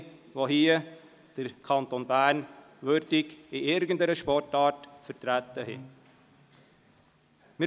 All diesen, welche den Kanton Bern, in irgendeiner Sportart würdig vertreten haben, gratuliere ich.